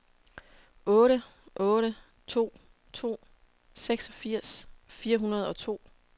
otte otte to to seksogfirs fire hundrede og to